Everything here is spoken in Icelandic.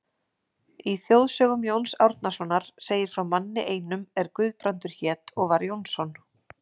Í þjóðsögum Jóns Árnasonar segir frá manni einum er Guðbrandur hét og var Jónsson.